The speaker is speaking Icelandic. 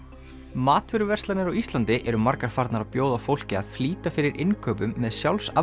matvöruverslanir á Íslandi eru margar farnar að bjóða fólki að flýta fyrir innkaupum með